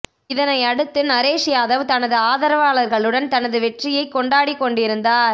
இதனை அடுத்து நரேஷ் யாதவ் தனது ஆதரவாளர்களுடன் தனது வெற்றியை கொண்டாடிக் கொண்டிருந்தார்